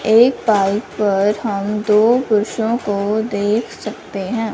एक बाइक पर हम दो कुर्सियों की देख सकते हैं।